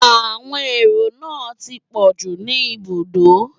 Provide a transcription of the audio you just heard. Àwọn èrò náà ti pọ̀jú ní ibùdókọ̀